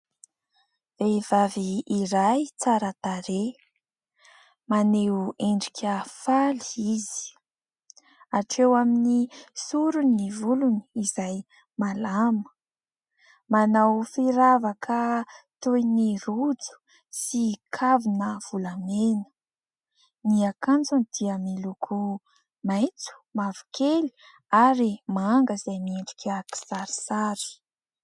Vehivavy iray tsara tarehy, maneho endrika faly izy. Hatreo amin'ny sorony ny volony izay malama, manao firavaka toy ny rojo sy kavina volamena. Ny akanjony dia miloko maitso mavokely ary manga izay miendrika kisarisary.